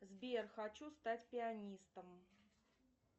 сбер хочу стать пианистом